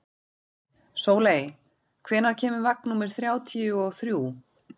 Sóley, hvenær kemur vagn númer þrjátíu og þrjú?